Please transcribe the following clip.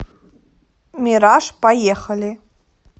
мираж поехали